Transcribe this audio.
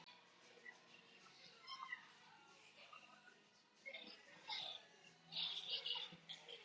Er eitthvað svona sameiginlegt sem þær áttu allar?